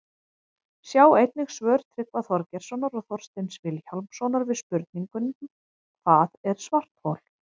Sjá einnig svör Tryggva Þorgeirssonar og Þorsteins Vilhjálmssonar við spurningunum Hvað er svarthol?